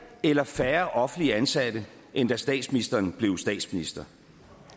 eller færre offentligt ansatte end da statsministeren blev statsminister